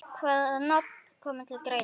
Hvaða nöfn koma til greina?